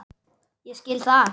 Ég skil það!